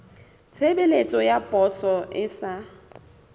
tshebeletso ya poso e sa